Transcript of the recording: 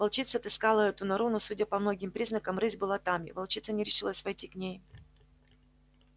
волчица отыскала эту нору но судя по многим признакам рысь была там и волчица не решилась войти к ней